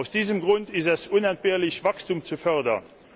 Aus diesem Grund ist es unentbehrlich, Wachstum zu fördern.